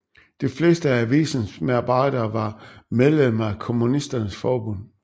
De fleste af avisens medarbejdere var medlemmer af Kommunisternes forbund